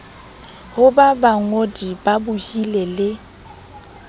ho ba bangodi babohi le